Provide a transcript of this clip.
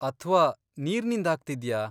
ಅಥ್ವಾ ನೀರ್ನಿಂದ್ ಆಗ್ತಿದ್ಯಾ?